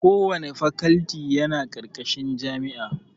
Kowanne fakalti yana ƙarƙashin jami'a